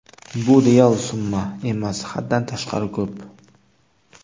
Bu real summa emas, haddan tashqari ko‘p.